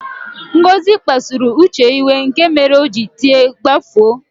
Ngozi kpasuru Uche iwe, nke mere o ji tie "gbafuo!"